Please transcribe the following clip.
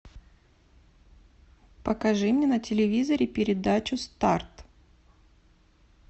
покажи мне на телевизоре передачу старт